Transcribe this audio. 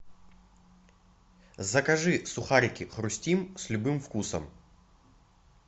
закажи сухарики хрустим с любым вкусом